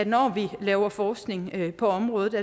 når vi laver forskning på området